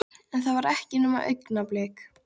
En það var ekki nema augnablik.